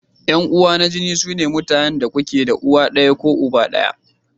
Yan uwa na jini sune mutanen da kuke da uwa ɗaya ko uba ɗaya.